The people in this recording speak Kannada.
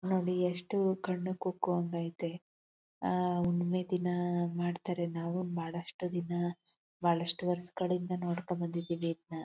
ನೋಡಿ ಎಷ್ಟು ಕಣ್ಣು ಕುಕ್ಕುವಂಗೆ ಐತೆ . ಆ ಮೆಹಂದಿನ ಮಾಡ್ತಾರೆ ನಾವು ಮಾಡಷ್ಟು ದಿನ ಬಹಳಷ್ಟು ವರ್ಷಗಳಿಂದ ನೋಡ್ಕೊಂಡು ಬಂದಿದ್ದೀವಿ ಇದನ್ನ.